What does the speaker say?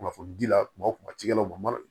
Kunnafoni di la kuma o kuma cikɛlaw ma